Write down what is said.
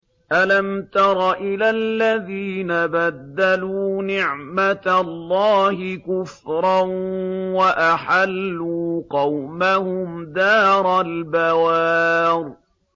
۞ أَلَمْ تَرَ إِلَى الَّذِينَ بَدَّلُوا نِعْمَتَ اللَّهِ كُفْرًا وَأَحَلُّوا قَوْمَهُمْ دَارَ الْبَوَارِ